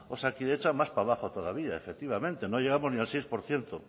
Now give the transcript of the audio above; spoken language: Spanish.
osakidetza más para abajo todavía efectivamente no llegamos ni al seis por ciento